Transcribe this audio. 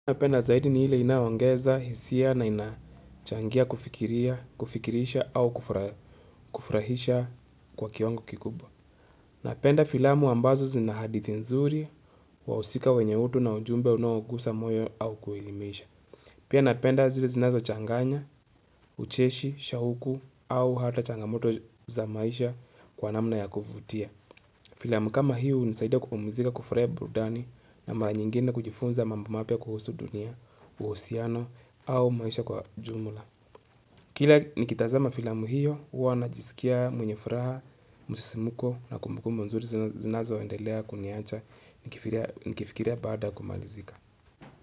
Napenda zaidi ni ile inayoongeza, hisia na inachangia kufikirisha au kufurahisha kwa kiwango kikubwa. Napenda filamu ambazo zinahadithi nzuri wa usika wenye utu na ujumbe unuogusa moyo au kuelimisha. Pia napenda zile zinazo changanya, ucheshi, shahuku au hata changamoto za maisha kwa namna ya kuvutia. Filamu kama hiyo unisaidia kupamuzika kufurahi burudani na mara nyingine kujifunza mambo mapya kuhusu dunia, uhusiano, au maisha kwa jumla. Kila nikitazama filamu hiyo huwana jisikia mwenyefuraha, musisimuko na kumbukumbu nzuri zinazoendelea kuniacha nikifikiria baada ya kumalizika.